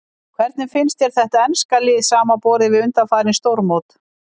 Hvernig finnst þér þetta enska lið samanborið við undanfarin stórmót?